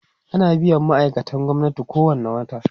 ana biyan ma'aikatan gwamnati kowani wata